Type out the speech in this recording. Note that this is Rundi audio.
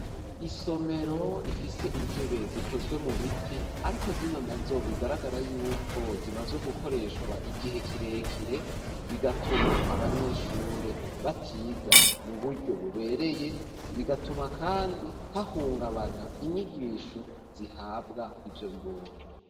Isomero ifise intebe zikozwe mu biti ariko zino na zo bigaragara yuko zimazwe gukoreshwa igihe kirekire bigatuma abanyeshure batiga mu buryo bubereye bigatuma kandi hahungabana inyigisho zihabwa ivyo bibondo.